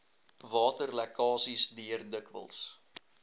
waterlekkasies deur dikwels